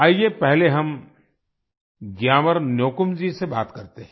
आइए पहले हम ग्यामर न्योकुम से बात करते हैं